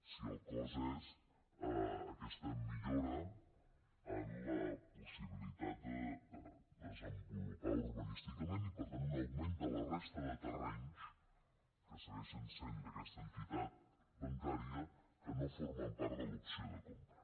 si el cost és aquesta millora en la possibilitat de desenvolupar urbanísticament i per tant un augment de la resta de terrenys que segueixen sent d’aquesta entitat bancària que no formen part de l’opció de compra